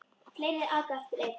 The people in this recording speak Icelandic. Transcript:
Fleiri aka eftir einn.